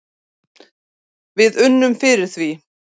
Við unnum fyrir því.